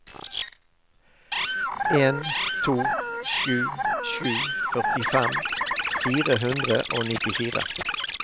en to sju sju førtifem fire hundre og nittifire